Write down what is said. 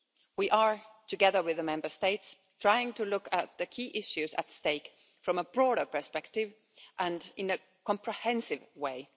We are, together with the Member States, trying to look at the key issues at stake from a broader perspective and in a comprehensive